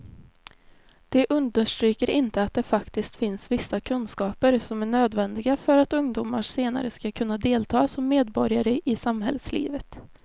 De understryker inte att det faktiskt finns vissa kunskaper som är nödvändiga för att ungdomar senare ska kunna delta som medborgare i samhällslivet.